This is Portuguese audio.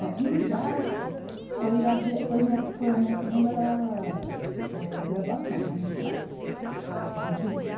Né, e o Idarte foi a gran, foi a minha, foi a minha segunda, eh graduação, né, de fato. Porque eu tive